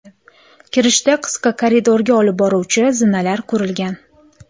Kirishda qisqa koridorga olib boruvchi zinalar qurilgan.